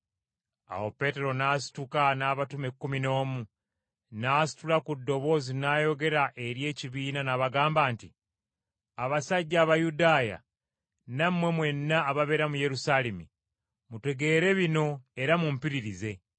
Awo Peetero n’asituka n’abatume ekkumi n’omu, n’asitula ku ddoboozi n’ayogera eri ekibiina, n’abagamba nti, “Abasajja Abayudaaya, nammwe mwenna ababeera mu Yerusaalemi, mutegeere bino era mumpulirize.